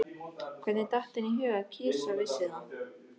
Hvernig datt henni í hug að kisa vissi það?